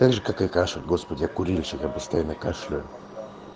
так же как и кашель господи я курильщик я постоянно кашляю